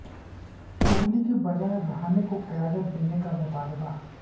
کوہلی کے بجائے رہانے کو قیادت دینے کا مطالبہ